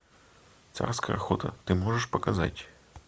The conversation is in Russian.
царская охота ты можешь показать